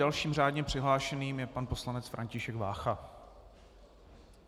Dalším řádně přihlášeným je pan poslanec František Vácha.